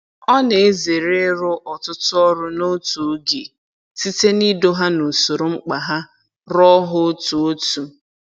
Ọ na-ezere ịrụ ọtụtụ ọrụ n'otu oge, site n'ido ha n'usoro mkpa ha rụọ ha otu otu.